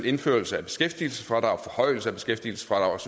indførelse af beskæftigelsesfradraget forhøjelse af beskæftigelsesfradraget